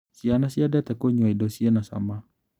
Ciana ciendete kũnyua indo cina cama.